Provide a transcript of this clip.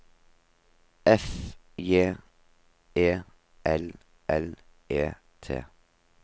F J E L L E T